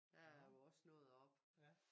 Der jo også noget oppe